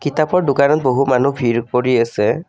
কিতাপৰ দোকানত বহু মানুহ ভিৰ কৰি আছে।